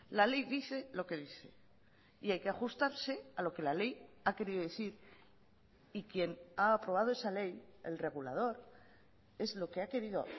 la ley dice lo que dice y hay que ajustarse a lo que la ley ha querido decir y quien ha aprobado esa ley el regulador es lo que ha querido